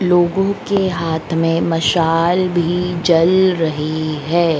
लोगों के हाथ में मशाल भी जल रही है।